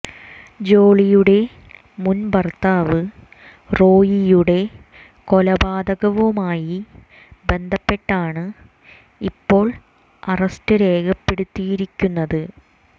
ജോളിയുടെ മുൻ ഭർത്താവ് റോയിയുടെ കൊലപാതകവുമായി ബന്ധപ്പെട്ടാണ് ഇപ്പോൾ അറസ്റ്റ് രേഖപ്പെടുത്തിയിരിക്കുന്നത്